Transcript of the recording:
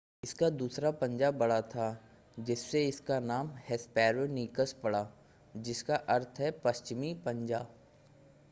इसका दूसरा पंजा बड़ा था जिससे इसका नाम हेस्पेरोनीकस पड़ा जिसका अर्थ है पश्चिमी पंजा